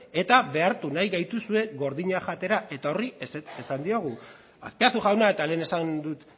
eta behartu nahi gaituzue gordina jatera eta horri ezetz esan diogu azpiazu jauna eta lehen esan dut